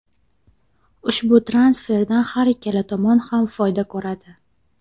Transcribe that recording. Ushbu transferdan har ikkala tomon ham foyda ko‘radi.